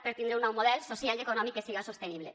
per tindre un nou model social i econòmic que siga sostenible